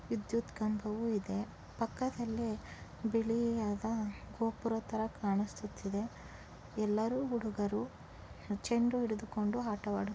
ವಿದ್ಯುತ್ ಕಂಬವು ಇದೆ ಪಕ್ಕದಲ್ಲಿ ಬಿಳಿಯಾದ ಗೋಪುರ ತರ ಕಾಣಿಸುತ್ತಿದೆ. ಎಲ್ಲಾರು ಹುಡುಗರು ಚಂಡು ಹಿಡಿದುಕೊಂಡು ಆಟವಾಡು--